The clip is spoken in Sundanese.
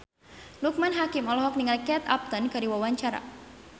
Loekman Hakim olohok ningali Kate Upton keur diwawancara